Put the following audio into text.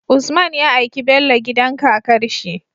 Usman ya aiki Bello gidan kakarshi